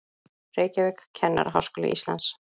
Reykjavík, Kennaraháskóli Íslands.